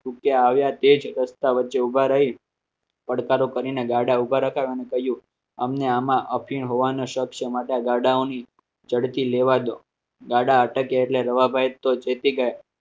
તું ક્યાં આવ્યા તે જ રસ્તા વચ્ચે ઊભા રહીને પડકારો કરીને ગાડા ઉભા રકાવાનું કહ્યું અમને આમાં અફીણ હોવાનો શક છે માટે ગાડાઓની ઝડપી લેવા દો ગાડા અટકે એટલે રવાભાઈ તો જતી